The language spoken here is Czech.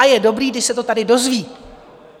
A je dobré, když se to tady dozví.